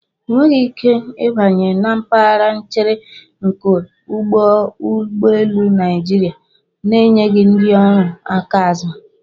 Ị nweghị ike ịbanye na mpaghara nchere nke ụlọ ụgbọelu Naịjirịa na-enyeghị ndị ọrụ aka azụ.